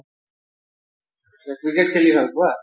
Cricket খেলি ভাল পোৱা?